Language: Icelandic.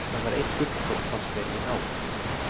Það var eitt gullkorn, fannst mér, í nál.